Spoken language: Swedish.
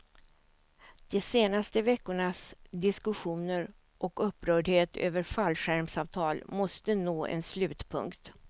De senaste veckornas diskussioner och upprördhet över fallskärmsavtal måste nå en slutpunkt.